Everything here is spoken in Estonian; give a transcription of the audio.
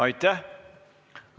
Aitäh!